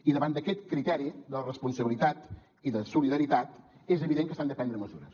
i davant d’aquest criteri de la responsabilitat i de solidaritat és evident que s’han de prendre mesures